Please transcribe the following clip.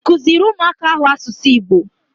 Ị kụziri ụmụaka ahụ asụsụ Igbo?